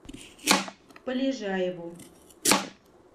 полежаеву